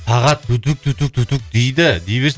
сағат дейді дей берсін